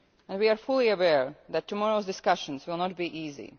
We are fully aware that tomorrow's discussions will not be easy.